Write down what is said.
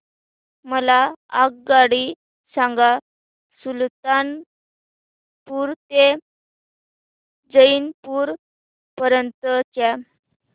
मला आगगाडी सांगा सुलतानपूर ते जौनपुर पर्यंत च्या